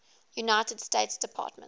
united states department